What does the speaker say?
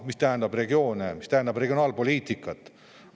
–, mis tähendab regioone, mis tähendab regionaalpoliitikat.